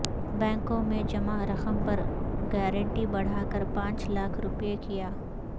بینکوں میں جمع رقم پر گارنٹی بڑھاکر پانچ لاکھ روپے کیا